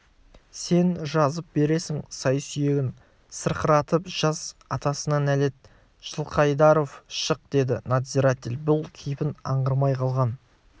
сен жазып бересің сай-сүйегін сырқыратып жаз атасына нәлет жылқайдаров шық деді надзиратель бұл кейпін аңғармай қалған